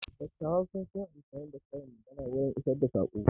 Dattawa sun fi yin amfani da karin magana wurin isar da tsako.